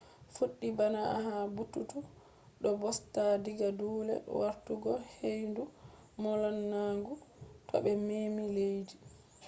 fuɗɗi bana ha bututu do busta diga dule wartugo ‘’heyndu molanagu’’ to be memi leddi